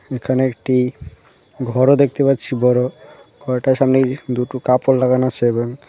এখানে একটি ঘরও দেখতে পাচ্ছি বড়ো ঘরটার সামনেই দুটো কাপড় লাগানো আছে এবং .